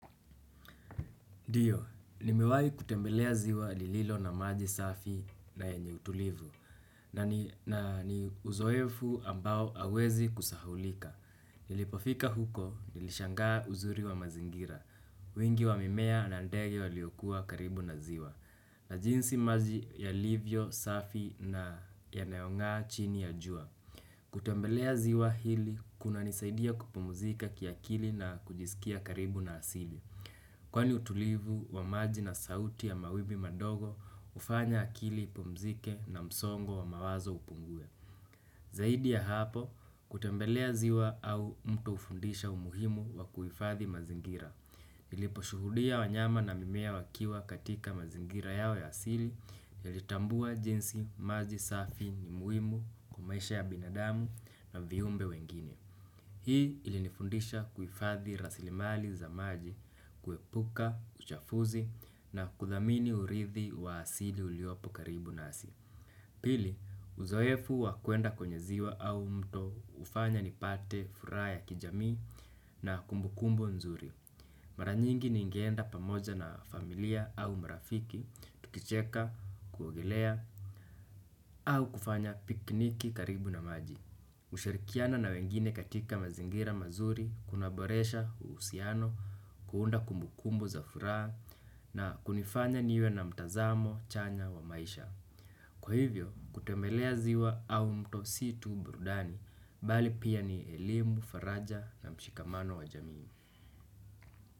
Ndio, nimewahi kutembelea ziwa lililo na maji safi na yenye utulivu. Na ni uzoefu ambao hauwezi kusahaulika. Nilipofika huko, nilishangaa uzuri wa mazingira wingi wa mimea na ndege waliokua karibu na ziwa. Na jinsi maji yalivyo, safi na yanayongaa chini ya jua. Kutembelea ziwa hili kunanisaidia kupumzika kiakili na kujisikia karibu na asili. Kwani utulivu wa maji na sauti ya mawimbi madogo hufanya akili ipumzike na msongo wa mawazo upungue. Zaidi ya hapo, kutembelea ziwa au mtu hufundisha umuhimu wa kuhifadhi mazingira. Niliposhuhudia wanyama na mimea wakiwa katika mazingira yao ya asili, nilitambua jinsi maji safi ni muhimu kwa maisha ya binadamu na viumbe wengine. Hii ilinifundisha kuhifadhi rasilimali za maji, kuepuka, uchafuzi na kudhamini urithi wa asili uliopo karibu nasi. Pili, uzoefu wa kuenda kwenye ziwa au mto hufanya nipate furaha ya kijamii na kumbukumbu nzuri. Mara nyingi ningeenda pamoja na familia au marafiki, tukicheka, kuogelea au kufanya pikniki karibu na maji. Kushirikiana na wengine katika mazingira mazuri, kunaboresha, uhusiano, kuunda kumbukumbu za furaha na kunifanya niwe na mtazamo, chanya wa maisha. Kwa hivyo, kutembelea ziwa au mto si tu burudani, bali pia ni elimu, faraja na mshikamano wa jamii.